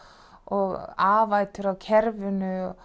og afætur á kerfinu